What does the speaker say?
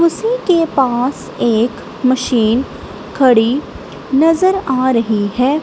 उसी के पास एक मशीन खड़ी नजर आ रही है।